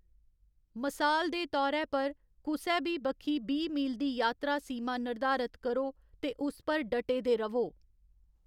मसाल दे तौरै पर, कुसै बी बक्खी बीह्‌ मील दी यात्रा सीमा निर्धारत करो ते उस पर डटे दे र'वो।